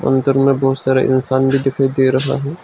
अंदर में बहुत सारे इंसान भी दिखाई दे रहा हैं।